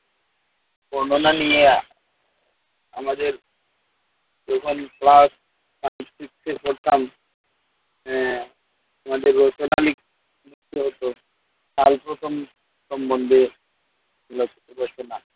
বর্ণনা নিয়ে আমাদের যখন class five six পড়তাম আহ আমাদের রচনা লিখ লিখতে হতো ‍কাল প্রথম সম্বন্ধে লেখছি রচনা।